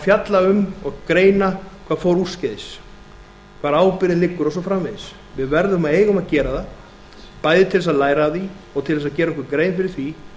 fjalla um og greina hvað fór úrskeiðis hvar ábyrgðin liggur og svo framvegis við verðum og eigum að gera það bæði til þess að læra af því og til þess að gera okkur grein fyrir því